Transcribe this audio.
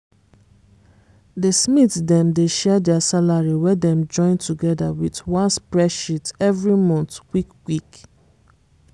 di smiths dem dey share dia salary wey dem join togeda wit one spreadsheet every month quick quick.